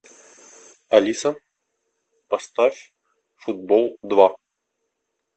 алиса поставь футбол два